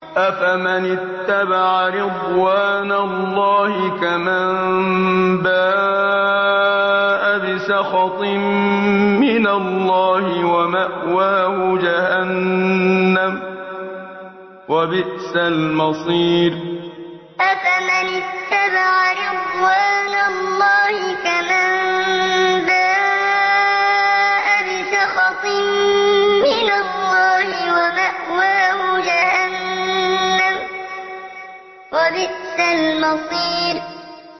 أَفَمَنِ اتَّبَعَ رِضْوَانَ اللَّهِ كَمَن بَاءَ بِسَخَطٍ مِّنَ اللَّهِ وَمَأْوَاهُ جَهَنَّمُ ۚ وَبِئْسَ الْمَصِيرُ أَفَمَنِ اتَّبَعَ رِضْوَانَ اللَّهِ كَمَن بَاءَ بِسَخَطٍ مِّنَ اللَّهِ وَمَأْوَاهُ جَهَنَّمُ ۚ وَبِئْسَ الْمَصِيرُ